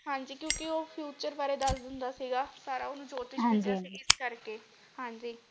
ਹਾਂਜੀ ਕਿਉਕਿ ਉਹ future ਬਾਰੇ ਦਸ ਦਿੰਦਾ ਸੀਗਾ ਸਾਰਾ ਓਹਨੂੰ ਹਾਂਜੀ ਜੋਤਿਸ਼ ਵਿੱਦਿਆ ਸੀ ਇਸ ਕਰਕੇ।